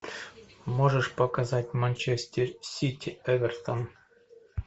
можешь показать манчестер сити эвертон